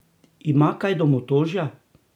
Ima kaj domotožja?